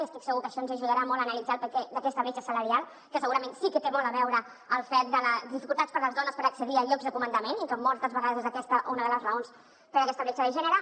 i estic segura que això ens ajudarà molt analitzar el perquè d’aquesta bretxa salarial que segurament sí que té molt a veure amb el fet de les dificultats per a les dones per accedir a llocs de comandament i que moltes vegades és aquesta una de les raons per a aquesta bretxa de gènere